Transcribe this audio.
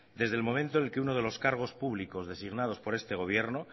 desde el momento en el que uno de los cargos públicos designados por este gobierno